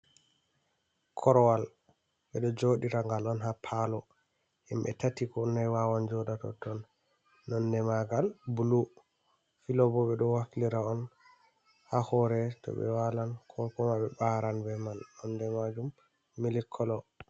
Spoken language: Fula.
Korowal ɓe ɗo jooɗira ngal on, haa paalo, himɓe tati ko nayi wawan jooɗa totton, nonnde maagal bulu. Filobo ɓe ɗo waflira on, haa hoore to ɓe waalan, ko kuma ɓe ɓaran be man, nonde maajum mili kolo.